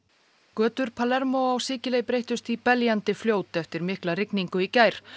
götur á Sikiley breyttust í beljandi fljót eftir mikla rigningu í gær